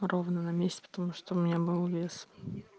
ровно на месяц потому что у меня был вес